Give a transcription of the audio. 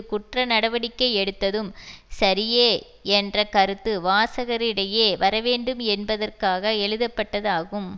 குற்றநடவடிக்கை எடுத்ததும் சரியே என்ற கருத்து வாசகரிடையே வரவேண்டும் என்பதற்காக எழுதப்பட்டது ஆகும்